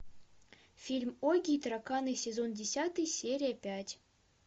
фильм огги и тараканы сезон десятый серия пять